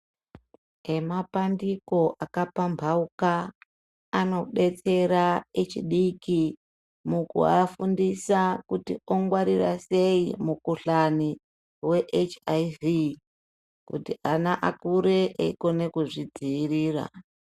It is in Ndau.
Emapandiko akapapambauka anodetsera echidiki mukuafundisa kuti ongwarira sei mukhuhlani weHIV kuti ana akure eikone kuzvidziirira.